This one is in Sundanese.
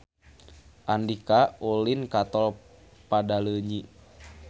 Andika ulin ka Tol Padaleunyi